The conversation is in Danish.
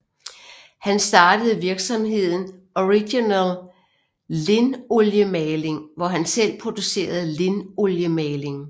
Han startede virksomheden Original Lindoliemaling hvor han selv producerede linoliemaling